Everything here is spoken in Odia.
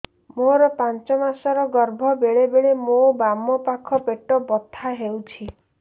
ମୋର ପାଞ୍ଚ ମାସ ର ଗର୍ଭ ବେଳେ ବେଳେ ମୋ ବାମ ପାଖ ପେଟ ବଥା ହଉଛି